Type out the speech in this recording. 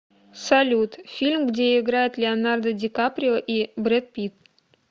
салют фильм где играет леонардо ди каприо и бред питт